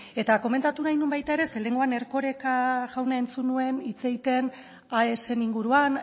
komentatu nahi nuen baita ere zeren eta lehenengoan erkoreka jauna entzun nuen hitz egiten aesen inguruan